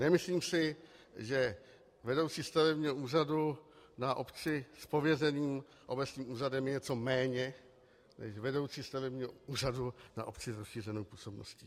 Nemyslím si, že vedoucí stavebního úřadu na obci s pověřeným obecním úřadem je něco méně než vedoucí stavebního úřadu na obci s rozšířenou působností.